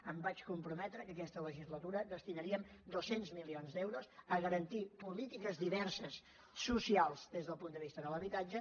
em vaig comprometre que aquesta legislatura destinaríem dos cents milions d’euros a garantir polítiques diverses socials des del punt de vista de l’habitatge